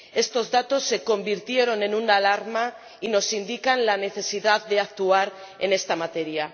Estos datos se convirtieron en una alarma y nos indican la necesidad de actuar en esta materia.